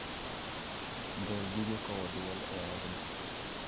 gol gige kowo dwol e odno